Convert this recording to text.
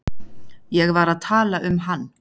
Ég var að tala um hann.